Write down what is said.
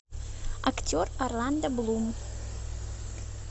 актер орландо блум